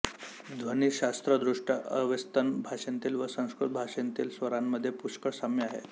ध्वनिशास्त्रदृष्ट्या Avestan भाषेंतील व संस्कृत भाषेतील स्वरांमध्ये पुष्कळ साम्य आहे